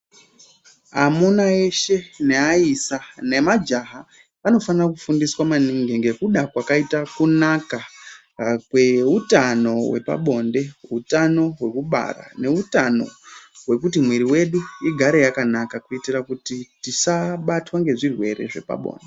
Amuna eshe neaisa nemajaha vanofana kufundiswa maningi ngekuda kwakaita kunaka kweutano hwepabonde hutano hwekubara neutano hwekuti mwiri wedu igare yakanaka kuitira kuti tisabatwa ngezvirwere zvepabonde.